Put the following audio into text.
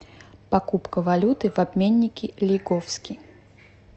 покупка валюты в обменнике лиговский